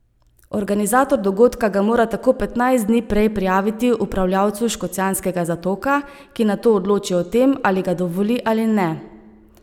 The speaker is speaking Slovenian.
Organizator dogodka ga mora tako petnajst dni prej prijaviti upravljavcu Škocjanskega zatoka, ki nato odloči o tem, ali ga dovoli ali ne.